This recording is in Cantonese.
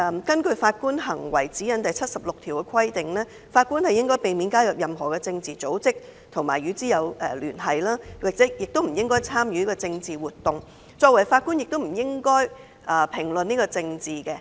根據《法官行為指引》第76段規定，"法官應避免加入任何政治組織，或與之有聯繫，或參與政治活動"，而作為法官亦不應評論政治。